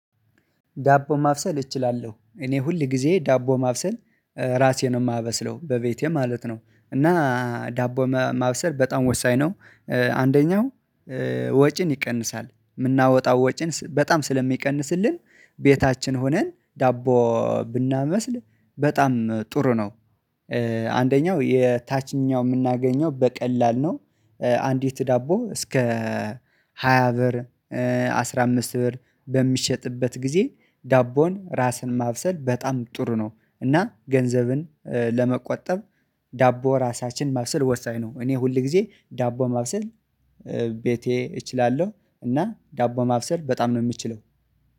ዳቦ ማብሰል እችላለሁ እኔ ሁል ጊዜ ዳቦ ማብሰል ራሴ ነው የማበስለው በቤቴ ማለት ነው። እና ዳቦ ማብሰል በጣም ወሳኝ ነው። አንደኛው ወጪን ይቀንሳል የምናወጣው ወጪን በጣም ስለሚቀንስልን። ቤታችን ሆነን ዳቦ ብናበስል በጣም ጥሩ ነው። አንደኛው የታችኛው የምናገኘው በቀላል ነው። አንዲት ዳቦ እስከ ሃያ ብር አስራ አምስት ብር በሚሸጥበት ጊዜ ዳቦን ራስን ማብሰል በጣም ጥሩ ነው እና ገንዘብን ለመቆጠብ። ዳቦ ራሳችን ማብሰል ወሳኝ ነው። እኔ ሁል ጊዜ ዳቦ ማብሰል ቤቴ እችላለሁ። እና ዳቦ ማብሰል በጣም ነው የምትችለው